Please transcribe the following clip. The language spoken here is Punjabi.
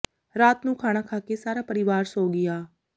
ਰਾਤ ਨੂੰ ਖਾਣਾ ਖਾ ਕੇ ਸਾਰਾ ਪਰਿਵਾਰ ਸੌਂ ਗਿਆ